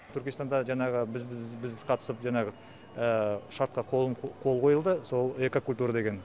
түркістанда жаңағы біз қатысып жаңағы шартқа қол қойылды сол экокультура деген